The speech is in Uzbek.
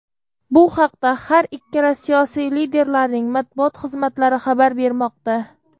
Bu haqda har ikkala siyosiy liderlarning Matbuot xizmatlari xabar bermoqda.